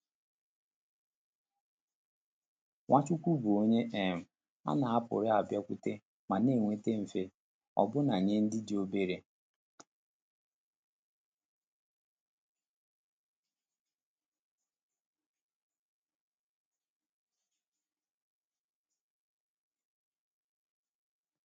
Nwachukwu bụ onye um a na-apụrụ abịakwute ma na-enweta mfe, ọbụna nye ndị dị obere.